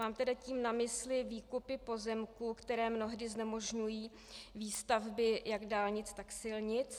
Mám tedy tím na mysli výkupy pozemků, které mnohdy znemožňují výstavby jak dálnic, tak silnic.